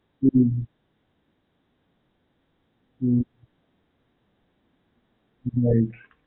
Hmm. Hmm. right.